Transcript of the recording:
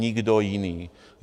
Nikdo jiný.